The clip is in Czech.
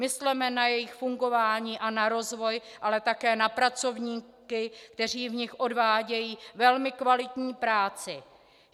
Mysleme na jejich fungování a na rozvoj, ale také na pracovníky, kteří v nich odvádějí velmi kvalitní práci.